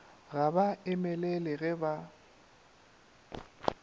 ga ba emelele ge ba